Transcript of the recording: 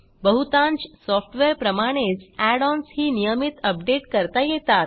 बहुतांश सॉफ्टवेअरप्रमाणेच add ons ही नियमित अपडेट करता येतात